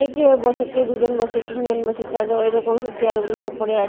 কেউ বসে কেউ দুজন বসে তিনজন বসে চারজন এইরকম চেয়ার -গুলো সব পড়ে আ--